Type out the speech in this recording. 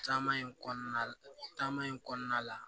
Taama in kɔnɔna la taama in kɔnɔna la